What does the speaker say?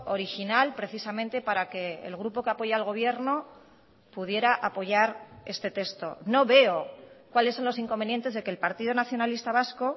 original precisamente para que el grupo que apoya al gobierno pudiera apoyar este texto no veo cuáles son los inconvenientes de que el partido nacionalista vasco